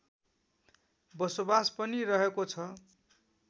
बसोबास पनि रहेको छ